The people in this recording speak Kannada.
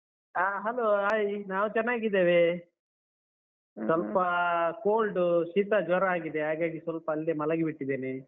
ಅಹ್ hello, hai ನಾವು ಚೆನ್ನಾಗಿದ್ದೇವೆ. ಸ್ವಲ್ಪ cold , ಶೀತ, ಜ್ವರ ಆಗಿದೆ. ಹಾಗಾಗಿ ಸ್ವಲ್ಪ ಅಲ್ಲೇ ಮಲಗಿಬಿಟ್ಟಿದ್ದೇನೆ.